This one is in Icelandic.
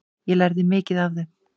Ég lærði mikið af þeim.